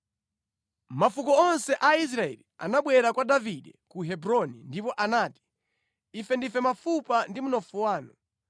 Mafuko onse a Israeli anabwera kwa Davide ku Hebroni ndipo anati, “Ife ndife mafupa ndi mnofu wanu.